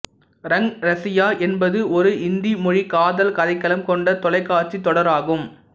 ரங் ரசியா என்பது ஒரு இந்தி மொழி காதல் கதைக்களம் கொண்ட தொலைகாட்சித் தொடர் ஆகும்